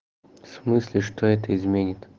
в смысле что это изменит